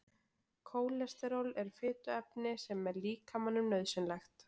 Kólesteról er fituefni sem er líkamanum nauðsynlegt.